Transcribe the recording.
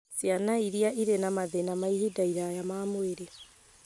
Ciana iria irĩ na mathĩna ma ihinda iraya ma mwĩrĩ